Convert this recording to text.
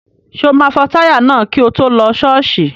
Ṣé o máa fọ táyà náà kí o tó lọ ṣọ́ọ̀ṣì?